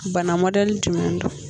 Bana mɔdɛli jumɛn don